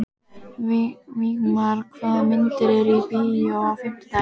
Vígmar, hvaða myndir eru í bíó á fimmtudaginn?